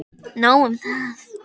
Nóg um það!